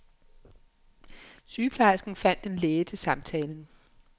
Sygeplejersken fandt en læge til samtalen.